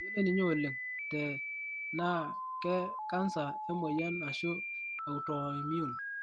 meyioloi ninye oleng te naakekansa, emoyian ashuu autoimmune.